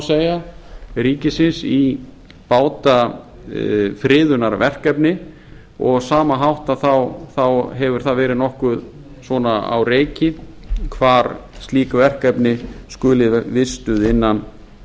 segja ríkisins í bátafriðunarverkefni og á sama hátt hefur það verið nokkuð á reiki hvar álit verkefni skuli vistuð